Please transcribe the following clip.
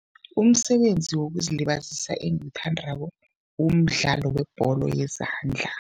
Umsebenzi wokuzilibazisa engiwuthandako, umdlalo webholo yezandla.